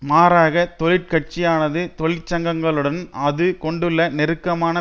மாறாக தொழிற் கட்சியானது தொழிற்சங்கங்களுடன் அது கொண்டுள்ள நெருக்கமான